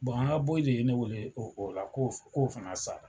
Bɔn an ka bɔyi de ye ne wele o la k'o fana sara!